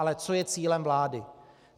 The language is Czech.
Ale co je cílem vlády?